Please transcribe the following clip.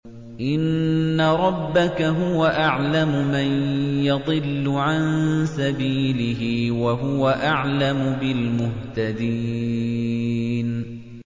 إِنَّ رَبَّكَ هُوَ أَعْلَمُ مَن يَضِلُّ عَن سَبِيلِهِ ۖ وَهُوَ أَعْلَمُ بِالْمُهْتَدِينَ